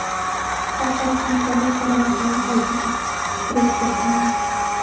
Xalqaro hamkorlik va rivojlanish agentligiga direktor tayinlandi.